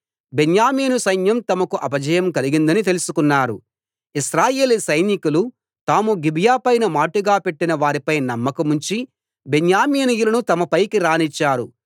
బెన్యామీను సైన్యం తమకు అపజయం కలిగిందని తెలుసుకున్నారు ఇశ్రాయేలీ సైనికులు తాము గిబియా పైన మాటుగా పెట్టిన వారిపై నమ్మకముంచి బెన్యామీనీయులను తమపైకి రానిచ్చారు